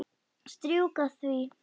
Strjúka því.